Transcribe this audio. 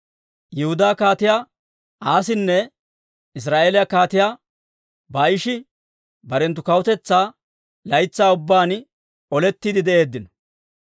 Yihudaa Kaatiyaa Aasinne Israa'eeliyaa Kaatiyaa Baa'ishi barenttu kawutetsaa laytsaa ubbaan olettiide de'eeddino.